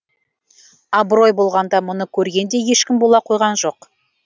абырой болғанда мұны көрген де ешкім бола қойған жоқ